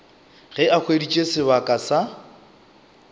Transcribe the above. ge a hweditše sebaka sa